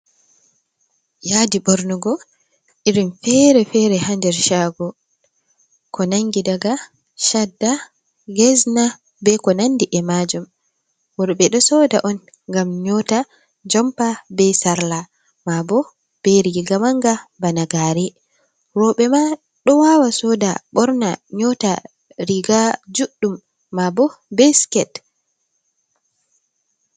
Yadi bornugo irin fere fere hander shago ko nangi daga chadda gezna be ko nandi e majum. worbe do soda on gam nyota jompa be sarla ma bo be riga manga bana gare robe ma do wawa soda borna nyota riga juddum ma bo be siket.